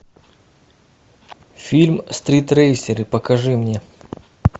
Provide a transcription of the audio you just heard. фильм стритрейсеры покажи мне